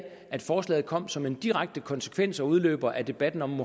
at forslaget kom som en direkte konsekvens og udløber af debatten om